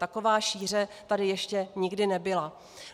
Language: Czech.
Taková šíře tady ještě nikdy nebyla.